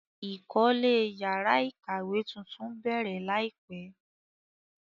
Ìkọ́lé yàrá ìkàwé tuntun bẹ̀rẹ̀ láìpẹ́.